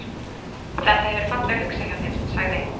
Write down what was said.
Þetta. hefur verið fallega hugsað hjá þér- sagði